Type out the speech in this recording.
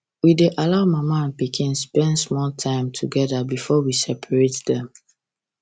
we dey allow mama and pikin spend small time time together before we separate dem